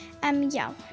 já